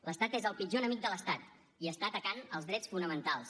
l’estat és el pitjor enemic de l’estat i està atacant els drets fonamentals